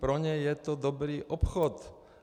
Pro ně je to dobrý obchod.